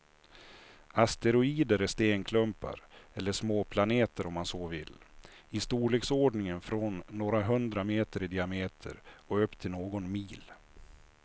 Asteroider är stenklumpar, eller småplaneter om man så vill, i storleksordningen från några hundra meter i diameter och upp till någon mil.